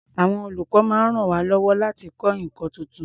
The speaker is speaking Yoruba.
Àwọn olùkọ́ máa ń ràn wá lọ́wọ́ láti kọ́ nǹkan tuntun.